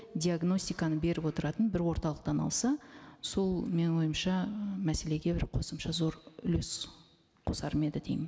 диагностиканы беріп отыратын бір орталықтан алса сол менің ойымша і мәселеге бір қосымша зор үлес қосар ма еді деймін